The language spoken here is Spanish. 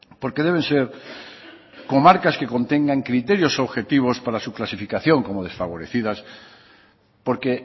porque deben ser comarcas que contengan criterios objetivos para su clasificación como desfavorecidas porque